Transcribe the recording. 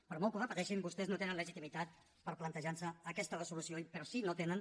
per molt que ho repeteixin vostès no tenen legitimitat per plantejar nos aquesta resolució però sí no tenen